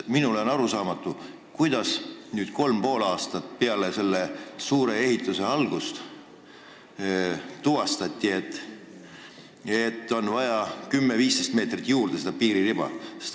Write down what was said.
Minule on arusaamatu, kuidas nüüd, kolm ja pool aastat peale selle suure ehituse algust, tuvastati, et on juurde vaja 10–15 meetri laiust piiririba?